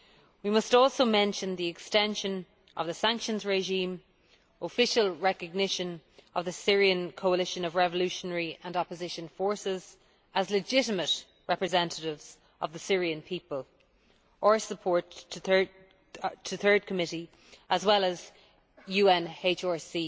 We must also mention the extension of the sanctions regime, official recognition of the Syrian Coalition of Revolutionary and Opposition Forces as legitimate representatives of the Syrian people, or support to the Third Committee, as well UNHRC